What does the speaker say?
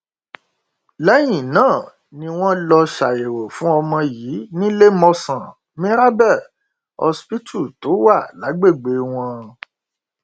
lẹyìn náà ni wọn lọọ ṣàyẹwò fún ọmọ yìí níléemọsán mirabel hospital tó wà lágbègbè wọn